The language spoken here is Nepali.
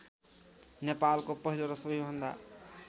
नेपालको पहिलो र सबैभन्दा